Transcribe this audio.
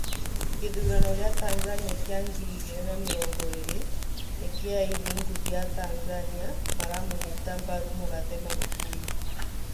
gĩthurano gĩa Tanzania kĩa ngiri igĩrĩ na mĩrongo ĩrĩ: nĩkĩĩ aini ngũthi a Tanzania maramũnyita mbaru mũgathe Magufuli